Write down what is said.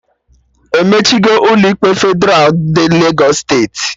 Emechigo Ụlọ ikpe Fedralụ ndị Legos steeti